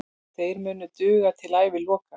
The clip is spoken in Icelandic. Þeir munu duga til æviloka.